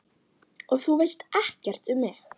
Og þú veist ekkert um mig